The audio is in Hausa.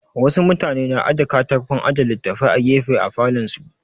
Wa su mutane na aje katakon aje littafai a gefe a falon su